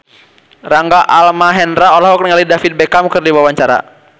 Rangga Almahendra olohok ningali David Beckham keur diwawancara